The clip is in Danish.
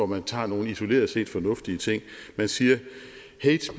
man tager nogle isoleret set fornuftige ting man siger